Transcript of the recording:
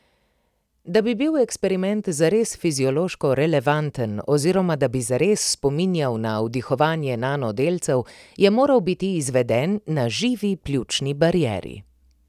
Da bi bil eksperiment zares fiziološko relevanten oziroma da bi zares spominjal na vdihovanje nanodelcev, je moral biti izveden na živi pljučni barieri.